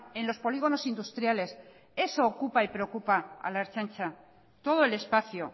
en los polígonos industriales eso ocupa y preocupa a la ertzaintza todo el espacio